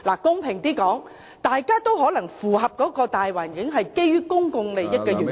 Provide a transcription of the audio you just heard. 公平地說，大家都可能符合這個大環境，是基於公眾利益的緣故......